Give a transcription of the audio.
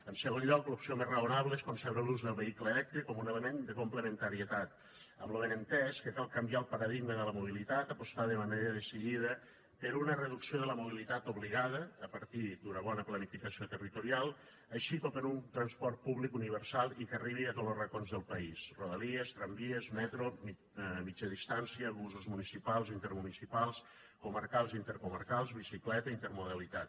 en segon lloc l’opció més raonable és concebre l’ús del vehicle elèctric com un element de complementarietat amb lo benentès que cal canviar el paradigma de la mobilitat apostar de manera decidida per una reducció de la mobilitat obligada a partir d’una bona planificació territorial així com per un transport públic universal i que arribi a tots los racons del país rodalies tramvies metro mitjana distància busos municipals intermunicipals comarcals i intercomarcals bicicleta intermodalitat